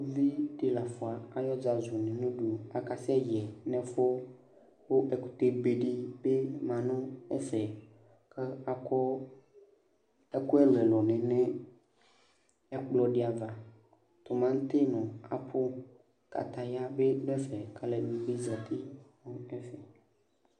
Uvidi ke lafa ay'ɔzazʋ enyǝdʋ k'akasɛ yɛ n'ɛfʋ Kʋ ɛkʋtɛbedɩ bɩ ma nʋ ɛfɛ ; kʋ akɔ ɛkʋ ɛlʋɛlʋnɩ nʋ ɛkplɔdɩ ava: tʋmatɩ nʋ apʋ , kataya bɩ dʋ ɛfɛ , k'alʋɛdɩnɩ bɩ zati nʋ ɛfɛ